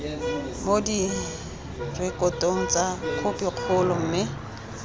mo direkotong tsa khopikgolo mme